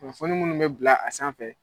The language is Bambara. Kunnafoni munnu bɛ bila a sanfɛ.